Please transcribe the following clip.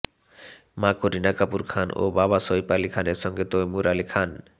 মা কারিনা কাপুর খান ও বাবা সাইফ আলি খানের সঙ্গে তৈমুর আলি খান